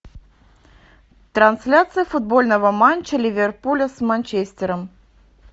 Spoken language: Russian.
трансляция футбольного матча ливерпуля с манчестером